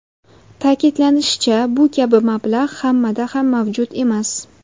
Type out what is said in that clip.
Ta’kidlanishicha, bu kabi mablag‘ hammada ham mavjud emas.